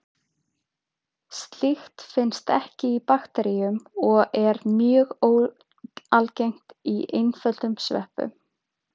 Slíkt finnst ekki í bakteríum og er mjög óalgengt í einföldum sveppum.